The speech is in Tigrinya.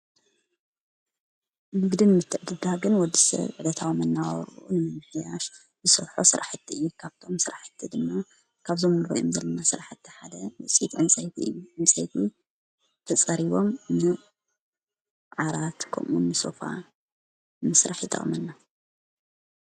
ንግድን ምትዕድዳግን ወድሰብ ዕለታዊ መነባብርኡ ንምምሕያሽ ዝሰርሖ ስራሕቲ እዩ። ካብቶም ስራሕቲ ድማ ካብዞም ንሪኦም ዘልና ስራሕቲ ሓደ ውፅኢት ዕንፀይቲ እዩ። ዕንፀይቲ ተጸሪቦም ዓራት ከምኡዉን ሶፋ ንምስራሕ ይጠቅመና።